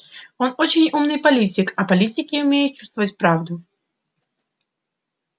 он очень умный политик а политики умеют чувствовать правду